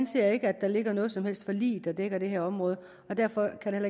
ser ikke at der ligger noget som helst forlig der dækker det her område og derfor kan der